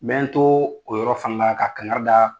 N bɛ n to o yɔrɔ fana la ka kankari da